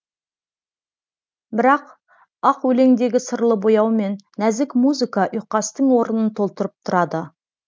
бірақ ақ өлеңдегі сырлы бояу мен нәзік музыка ұйқастың орнын толтырып тұрады